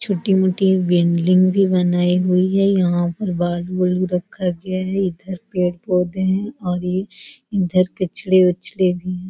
छोटी मोटी बिल्डिंग भी बनायीं हुई हैं यहाँ पर बाल-बूल रखा गया है इधर पेड़-पौधे हैं और ये इधर कचरे वचरे भी हैं।